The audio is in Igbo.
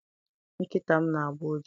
Nkịta m na- agbọ ụja